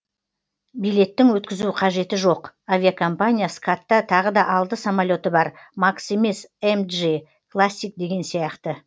билеттің өткізу қажеті жоқ авиакомпания скатта тағы да алты самолеті бар макс емес эмджи классик деген сияқты